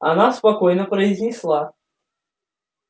она спокойно произнесла